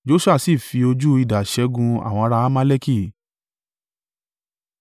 Joṣua sì fi ojú idà ṣẹ́gun àwọn ará Amaleki.